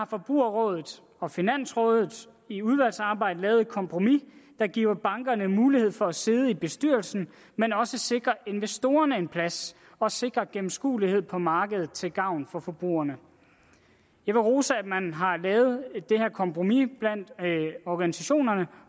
forbrugerrådet og finansrådet i udvalgsarbejdet lavet et kompromis der giver bankerne mulighed for at sidde i bestyrelsen men også sikrer investorerne en plads og sikrer gennemskuelighed på markedet til gavn for forbrugerne jeg vil rose at man har lavet det her kompromis blandt organisationerne